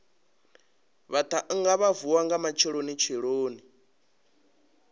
vhaṱhannga vha vuwa nga matshelonitsheloni